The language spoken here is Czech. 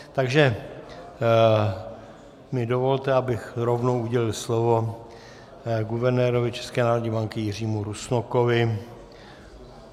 Takže mi dovolte, abych rovnou udělil slovo guvernérovi České národní banky Jiřímu Rusnokovi.